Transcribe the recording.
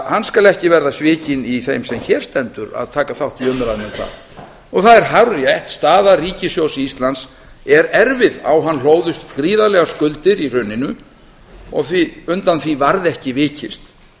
hann skal ekki verða svikinn í þeim sem hér stendur að taka þátt í umræðunni um það það er hárrétt staða ríkissjóðs er erfið á hann hlóðust gríðarlegar skuldir í hruninu og undan því varð ekki vikist